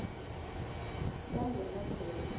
sangemedhlela